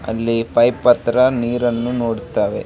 ಅಲ್ಲಿ ಪೈಪ್ ಹತ್ರ ನೀರನ್ನು ನೋಡ್ತವೆ.